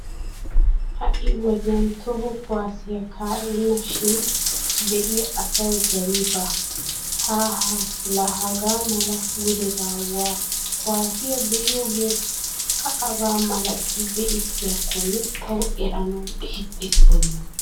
Ha"i wodiyan toho kuwaassiya ka'enna shin be'iya asawu zawi baawa. Haaha la hagaa mala gudeba waa kuwaassiya be'iyoogee kaa'aba malati beetiyakkonne tawu eranawu ixxisttennee!